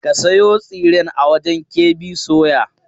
Ka sayo tsiren a wajen KB soya!